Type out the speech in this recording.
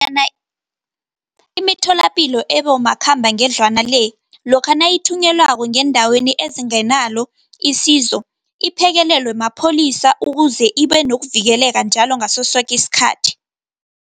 Imitholapilo ebomakhambangendlwana le, lokha nayithunyelwako ngeendaweni ezingenalo isizo, iphekelelwe mapholisa ukuze ibe nokuvikeleka njalo, ngasosoki isikhathi.